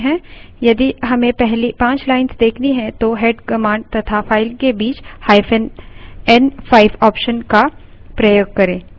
यदि हमें पहली पाँच lines देखनी हैं तो head command तथा file के बीचn5 option का प्रयोग करें